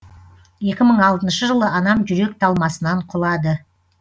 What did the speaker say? екі мың алтыншы жылы анам жүрек талмасынан құлады